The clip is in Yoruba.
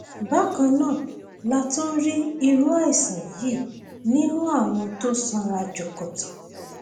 bákan náà la tún rí irú àìsàn yìí nínú àwọn tó sanra jọkọtọ